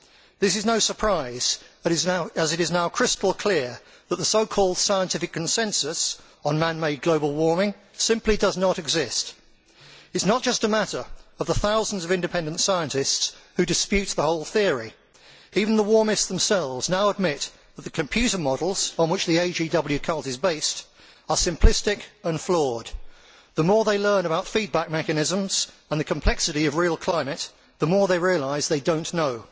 This is no surprise, as it is now crystal clear that the so called scientific consensus on man made global warming simply does not exist. It is not just a matter of the thousands of independent scientists who dispute the whole theory even the warmists themselves now admit that the computer models on which the Anthropogenic Global Warming cult is based are simplistic and flawed. The more they learn about feedback mechanisms and the complexity of real climate, the more they realise they do not know.